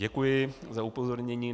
Děkuji za upozornění.